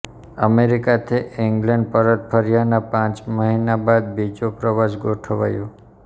અમેરિકાથી ઈંગ્લેન્ડ પરત ફર્યાના પાંચ મહિના બાદ બીજો પ્રવાસ ગોઠવાયો